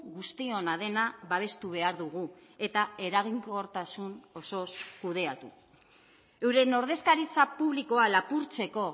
guztiona dena babestu behar dugu eta eraginkortasun osoz kudeatu euren ordezkaritza publikoa lapurtzeko